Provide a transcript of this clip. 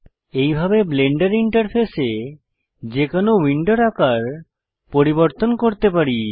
এইভাবে ব্লেন্ডার ইন্টারফেসে যে কোনো উইন্ডোর আকার পরিবর্তন করতে পারি